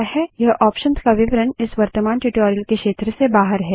इस ऑप्शंस का विवरण इस वर्त्तमान ट्यूटोरियल के क्षेत्र से बाहर है